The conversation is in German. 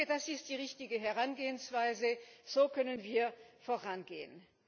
Ich denke, dass ist die richtige Herangehensweise, so können wir vorangehen.